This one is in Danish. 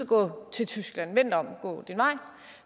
gå til tyskland vend dig om og gå din vej